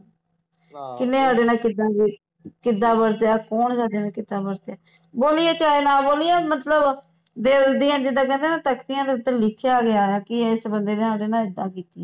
ਕਿੰਨੇ ਓਹਦੇ ਨਾਲ ਕਿੱਦਾਂ ਵੀ ਕਿੱਦਾਂ ਵਰਤਿਆ ਕੌਣ ਸਾਡੇ ਨਾਲ ਕਿੱਦਾਂ ਵਰਤਿਆ ਬੋਲੀਏ ਚਾਹੇ ਨਾ ਬੋਲੀਏ ਮਤਲਬ ਦਿਲ ਦੀਆਂ ਜਿੱਦਾਂ ਕਹਿੰਦੇ ਹੈਂ ਤਖਤੀਆਂ ਤੇ ਲਿਖਿਆ ਗਿਆ ਹੈ ਕਿ ਇਸ ਬੰਦੇ ਨੇ ਸਾਡੇ ਨਾਲ ਇੱਦਾ ਕੀਤੀ ਹੈ